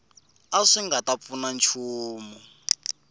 swi nga ta pfuna nchumu